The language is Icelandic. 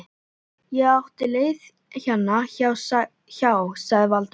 Ég átti leið hérna hjá- sagði Valdimar.